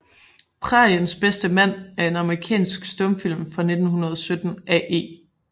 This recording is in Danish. Præriens bedste Mand er en amerikansk stumfilm fra 1917 af E